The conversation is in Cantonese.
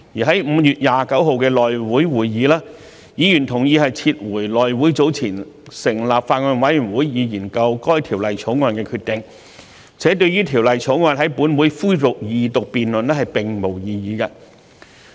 在5月29日的內務委員會會議，議員同意撤回內務委員會早前成立法案委員會以研究《條例草案》的決定，且對於《條例草案》在本會恢復二讀辯論並無異議。